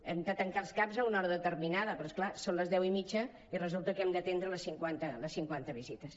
hem de tancar els caps a una hora determinada però és clar són les deu i mitja i resulta que hem d’atendre les cinquanta visites